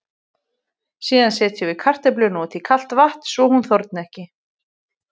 Síðan setjum við kartöfluna út í kalt vatn svo hún þorni ekki.